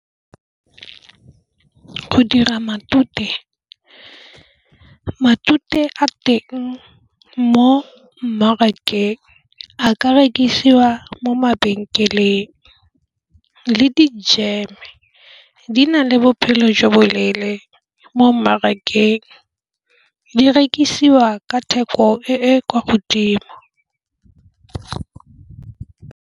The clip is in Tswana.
Go dira matute, matute a teng mo mmarakeng a ka rekisiwa mo mabenkeleng le dijeme di na le bophelo jo boleele mo mmarakeng di rekisiwa ka theko e e kwa godimo.